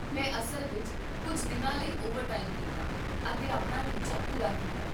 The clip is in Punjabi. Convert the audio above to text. ਮੈਂ ਅਸਲ ਵਿੱਚ ਕੁੱਝ ਦਿਨਾਂ ਲਈ ਓਵਰਟਾਈਮ ਕੀਤਾ ਅਤੇ ਆਪਣਾ ਟੀਚਾ ਪੂਰਾ ਕੀਤਾ